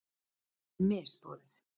Henni er misboðið.